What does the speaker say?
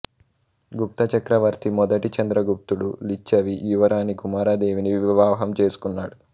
గుప్తచక్రవర్తి మొదటి చంద్రగుప్తుడు లిచ్ఛవి యువరాణి కుమారదేవిని వివాహం చేసుకున్నాడు